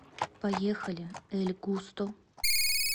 поехали эль густо